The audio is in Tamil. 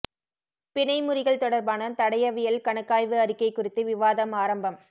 பிணை முறிகள் தொடர்பான தடயவியல் கணக்காய்வு அறிக்கை குறித்து விவாதம் ஆரம்பம்